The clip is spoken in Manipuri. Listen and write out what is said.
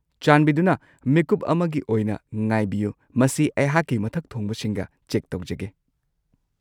ꯆꯥꯟꯕꯤꯗꯨꯅ ꯃꯤꯀꯨꯞ ꯑꯃꯒꯤ ꯑꯣꯏꯅ ꯉꯥꯏꯕꯤꯌꯨ꯫ ꯃꯁꯤ ꯑꯩꯍꯥꯛꯀꯤ ꯃꯊꯛ ꯊꯣꯡꯕꯁꯤꯡꯒ ꯆꯦꯛ ꯇꯧꯖꯒꯦ꯫